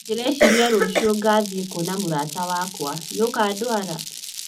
Ndĩreciria rũciũ ngathii kwona mũrata wakwa nĩ ũkandwara